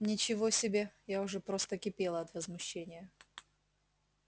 ничего себе я уже просто кипела от возмущения